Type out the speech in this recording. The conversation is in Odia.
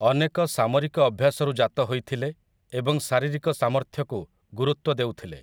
ଅନେକ ସାମରିକ ଅଭ୍ୟାସରୁ ଜାତ ହୋଇଥିଲେ ଏବଂ ଶାରୀରିକ ସାମର୍ଥ୍ୟକୁ ଗୁରୁତ୍ୱ ଦେଉଥିଲେ ।